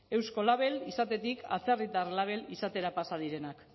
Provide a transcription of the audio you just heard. eusko label izatetik atzerritar label izatera pasa direnak